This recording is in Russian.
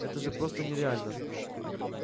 это же просто нереально